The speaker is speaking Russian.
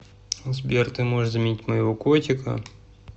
сбер ты можешь заменить моего котика